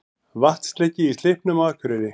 Vatnsleki í Slippnum á Akureyri